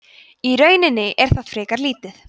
í rauninni er það frekar lítið